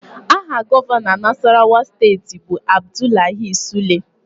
Aha Gọvanọ Nasarawa steeti bụ Abdullahi Sule